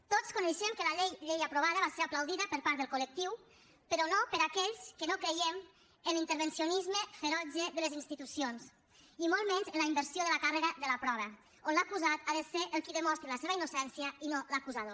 tots coneixem que la llei aprovada va ser aplaudida per part del col·lectiu però no per aquells que no creiem en l’intervencionisme ferotge de les institucions i molt menys en la inversió de la càrrega de la prova on l’acusat ha de ser el qui demostri la seva innocència i no l’acusador